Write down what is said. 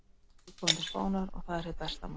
Nú er ég kominn til Spánar. og það er hið besta mál.